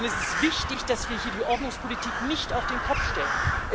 Es ist wichtig, dass wir hier die Ordnungspolitik nicht auf den Kopf stellen.